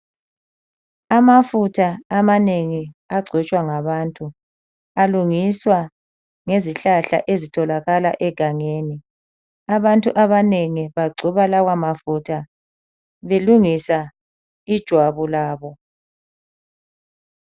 Amafutha amanengi agcotshwa ngabantu alungiswa ngezihlahla ezitholakala egangeni. Abantu abanengi bagcoba lawo mafutha belungisa ijwabu labo.